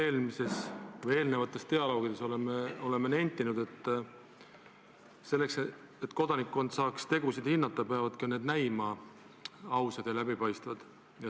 Nagu me oma eelnevates dialoogides oleme nentinud, selleks, et kodanikkond saaks tegusid hinnata, peavad need ka näima ausad ja läbipaistvad.